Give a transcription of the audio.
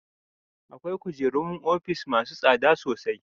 Akwai kujerun ofis masu tsada sosai.